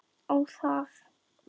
Ó, það!